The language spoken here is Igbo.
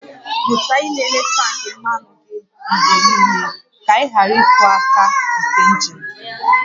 Mụta ịlele tank mmanụ gị mgbe niile, ka ị ghara ịkụ aka nke injin